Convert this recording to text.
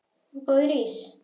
Góður ís?